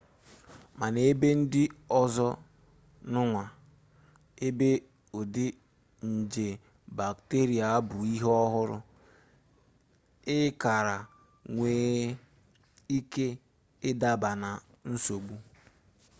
mana n'ebe ndị ọzọ n'ụwa ebe ụdị nje bakteria bụ ihe ọhụrụ ị kara nwee ike ịdaba na nsogbu